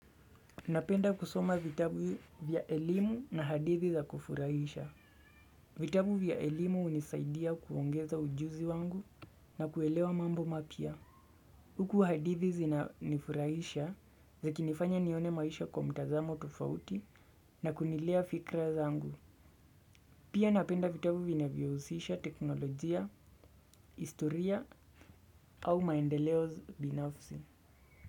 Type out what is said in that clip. Napenda kusoma vitabu vya elimu na hadithi za kufurahisha. Vitabu vya elimu hunisaidia kuongeza ujuzi wangu na kuelewa mambo mapya. Huku hadithi zina nifurahisha zikinifanya nione maisha kwa mtazamo tofauti na kunilea fikra zangu. Pia napenda vitabu vinavyo husisha teknolojia, historia au maendeleo binafsi.